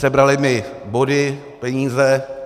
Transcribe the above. Sebrali mi body, peníze.